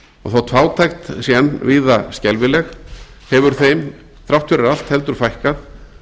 og þótt fátækt sé enn víða skelfileg hefur þeim þrátt fyrir allt heldur fækkað